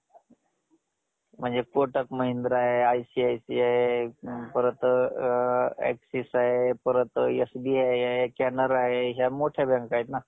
किती शिकलेले तुम्ही काय शिकलेले बोला मला